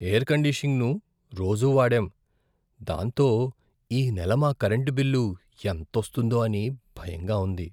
Air కండిషనింగ్ను రోజూ వాడాం, దాంతో ఈ నెల మా కరెంటు బిల్లు ఎంతోస్తుందో అని భయంగా ఉంది.